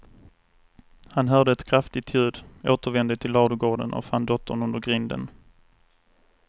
Han hörde ett kraftigt ljud, återvände till ladugården och fann dottern under grinden.